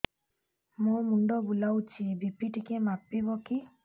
ମୋ ମୁଣ୍ଡ ବୁଲାଉଛି ବି.ପି ଟିକିଏ ମାପିବ କି